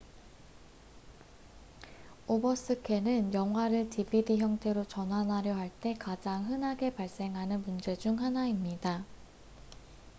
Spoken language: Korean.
오버스캔은 영화를 dvd 형태로 전환하려 할 때 가장 흔하게 발생하는 문제 중 하나입니다